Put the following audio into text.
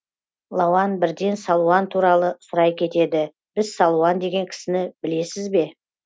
лауан бірден салуан туралы сұрай кетеді біз салуан деген кісіні білесіз ба